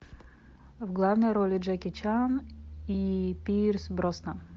в главной роли джеки чан и пирс броснан